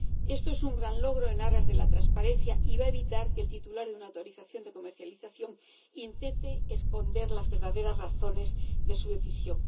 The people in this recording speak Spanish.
Esto es un gran logro, en aras de la transparencia, y va a evitar que el titular de una autorización de comercialización intente esconder las verdaderas razones de su decisión.